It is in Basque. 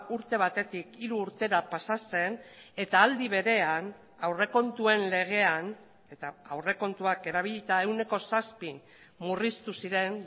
urte batetik hiru urtera pasa zen eta aldi berean aurrekontuen legean eta aurrekontuak erabilita ehuneko zazpi murriztu ziren